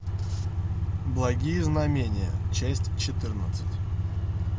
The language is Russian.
благие знамения часть четырнадцать